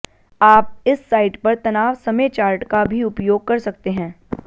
आप इस साइट पर तनाव समय चार्ट का भी उपयोग कर सकते हैं